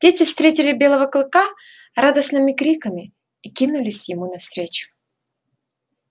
дети встретили белого клыка радостными криками и кинулись ему навстречу